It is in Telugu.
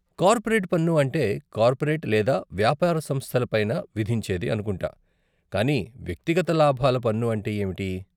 కార్పోరేట్ పన్ను అంటే కార్పోరేట్ లేదా వ్యాపార సంస్థల పైన విధించేది అనుకుంటా కానీ వ్యక్తిగత లాభాల పన్ను అంటే ఏమిటి?